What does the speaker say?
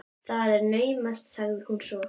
Það er naumast sagði hún svo.